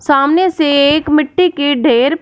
सामने से एक मिट्टी के ढेर--